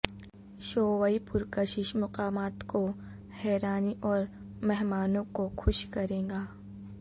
شوئ پرکشش مقامات کو حیرانی اور مہمانوں کو خوش کرے گا